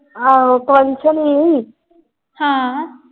ਆਹੋ function ਸੀ।